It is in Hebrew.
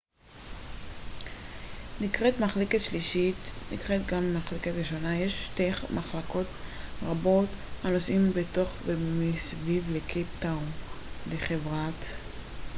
לחברת metrorail יש שתי מחלקות ברכבות הנוסעים בתוך ומסביב לקייפ טאון: metroplus נקראת גם מחלקה ראשונה ו- metro נקראת מחלקה שלישית